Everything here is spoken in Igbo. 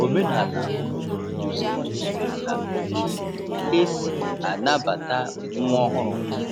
Omenala obodo duziri mgbe na otú e si anabata nwa ọhụrụ.